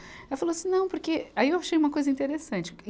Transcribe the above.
Ela falou assim, não, porque aí eu achei uma coisa interessante.